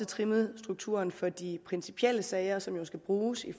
trimmet strukturen for de principielle sager som jo skal bruges